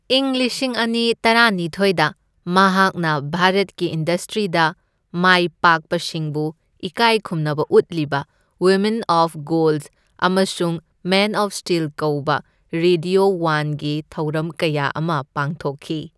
ꯢꯪ ꯂꯤꯁꯤꯡ ꯑꯅꯤ ꯇꯔꯥꯅꯤꯊꯣꯢꯗ ꯃꯍꯥꯛꯅ ꯚꯥꯔꯠꯀꯤ ꯏꯟꯗꯁꯇ꯭ꯔꯤꯗ ꯃꯥꯢꯄꯥꯛꯄꯁꯤꯡꯕꯨ ꯏꯀꯥꯢꯈꯨꯝꯅꯕ ꯎꯠꯂꯤꯕ ꯋꯤꯃꯤꯟ ꯑꯣꯐ ꯒꯣꯜꯗ ꯑꯃꯁꯨꯡ ꯃꯦꯟ ꯑꯣꯐ ꯁ꯭ꯇꯤꯜ ꯀꯧꯕ ꯔꯦꯗ꯭ꯌꯣ ꯋꯥꯟꯒꯤ ꯊꯧꯔꯝ ꯀꯌꯥ ꯑꯃ ꯄꯥꯡꯊꯣꯛꯈꯤ꯫